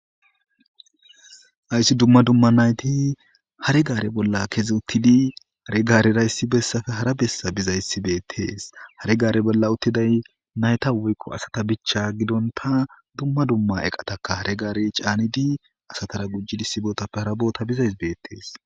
Ayssi dumma dumma nayti hare gaare bolla kezi uttidi hare gaarerayssi bessafe hara bessa bizayssi beettees hare gaare bolla uttiday nayta woykqo asata bichcha gidonta dumma dumma eqataka hare gaare caanidi asatara gujjidi sibootappe hara boota bizays beettees.